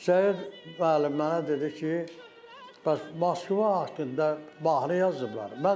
Şəyid müəllim mənə dedi ki, bəs Moskva haqqında mahnı yazıblar.